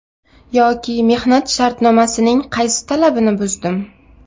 Yoki mehnat shartnomasining qaysi talabini buzdim?